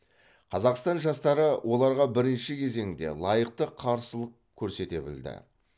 қазақстан жастары оларға бірінші кезеңде лайықты қарсылық көрсете білді